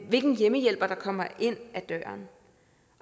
hvilken hjemmehjælper der kommer ind ad døren